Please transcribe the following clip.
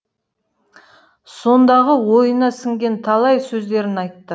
сондағы ойына сіңген талай сөздерін айтты